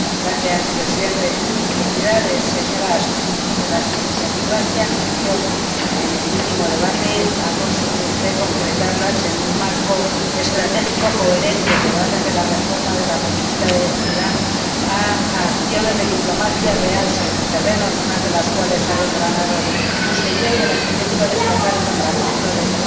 Señor Presidente, felicidades, señora Ashton, porque las iniciativas que anunció en el último debate ha conseguido usted concretarlas en un marco estratégico coherente, que va desde la reforma de la política de vecindad a acciones de diplomacia real, sobre el terreno, algunas de las cuales ha desgranado usted ya y de las que yo quiero destacar el nombramiento de